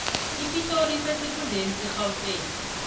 ipitori isesifundeni serhawuteni